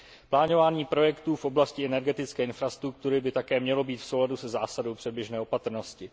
Plánování projektů v oblasti energetické infrastruktury by také mělo být v souladu se zásadou předběžné opatrnosti.